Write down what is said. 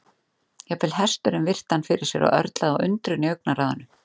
Jafnvel hesturinn virti hann fyrir sér og örlaði á undrun í augnaráðinu.